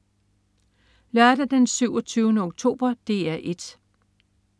Lørdag den 27. oktober - DR 1: